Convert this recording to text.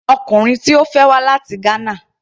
Ọkùnrin tí Ó fẹ́ wá láti Ghana.